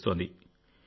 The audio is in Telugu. నిర్వహిస్తోంది